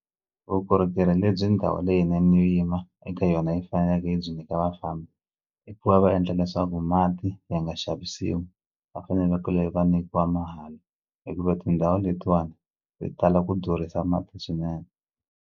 Vukorhokeri lebyi ndhawu leyinene yo yima eka yona yi faneleke yi byi nyika vafambi i ku va va endla leswaku mati ya nga xavisiwi va fanelekele va nyikiwa mahala hikuva tindhawu letiwani ti tala ku durhisa mati swinene.